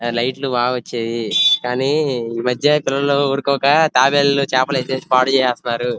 లైట్లు బాగా వచ్చేది కానీ ఈ మధ్య పిల్లలు ఊరుకోకుండా తాబేలు చాపెలు ఏతేసి పాడు చేస్తున్నారు --